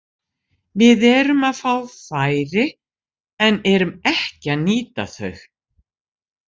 Við erum að fá færi en erum ekki að nýta þau.